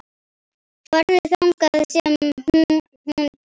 Farðu þangað sem hún býr.